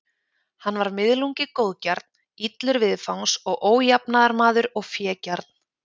Hann var miðlungi góðgjarn, illur viðfangs og ójafnaðarmaður og fégjarn.